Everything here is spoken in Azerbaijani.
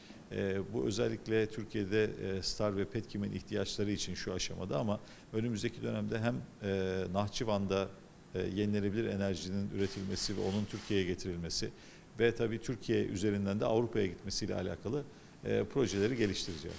Eee bu xüsusilə Türkiyədə STAR və Petkimin ehtiyacları üçün bu mərhələdədir, amma qarşıdakı dövrdə həm eee Naxçıvanda eee bərpa olunan enerjinin istehsalı və onun Türkiyəyə gətirilməsi və təbii ki, Türkiyə üzərindən də Avropaya getməsi ilə bağlı eee layihələri inkişaf etdirəcəyik.